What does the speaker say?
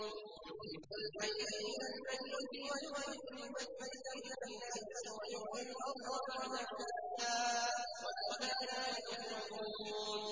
يُخْرِجُ الْحَيَّ مِنَ الْمَيِّتِ وَيُخْرِجُ الْمَيِّتَ مِنَ الْحَيِّ وَيُحْيِي الْأَرْضَ بَعْدَ مَوْتِهَا ۚ وَكَذَٰلِكَ تُخْرَجُونَ